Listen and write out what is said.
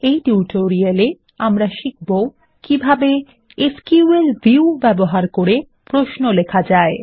এই টিউটোরিয়াল এ আমরা শিখবো কিভাবে এসকিউএল ভিউ ব্যবহার করে প্রশ্ন লেখা যায়